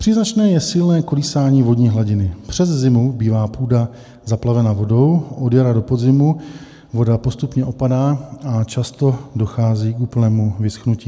Příznačné je silné kolísání vodní hladiny - přes zimu bývá půda zaplavena vodou, od jara do podzimu voda postupně opadá a často dochází k úplnému vyschnutí.